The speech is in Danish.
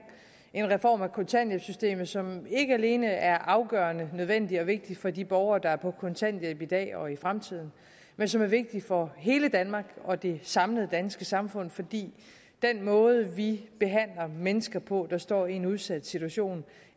en reform af kontanthjælpssystemet som ikke alene er afgørende nødvendig og vigtig for de borgere der er på kontanthjælp i dag og i fremtiden men som er vigtig for hele danmark og det samlede danske samfund fordi den måde vi behandler mennesker på der står i en udsat situation